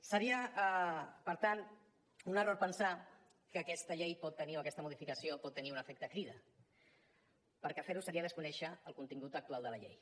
seria per tant un error pensar que aquesta llei pot tenir o aquesta modificació pot tenir un efecte crida perquè fer ho seria desconèixer el contingut actual de la llei